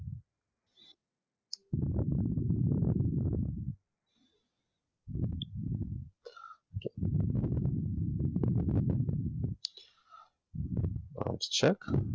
cross check